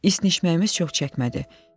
İsnəməyimiz çox çəkmədi.